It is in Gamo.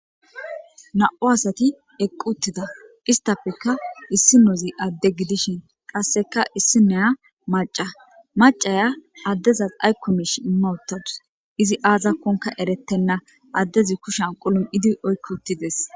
na'u asati eqq uttida istapekka issinozi adde gidishin qasseka issi neya maca macaya addezas aykomish imma uttadus izi aazakkonka erettenna addezi kushan qulum'idi oykko uttides